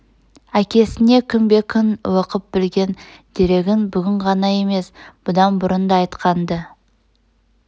әкесне күнбе-күн оқып білген дерегін бүгін ғана емес бұдан бұрын да айтқан-ды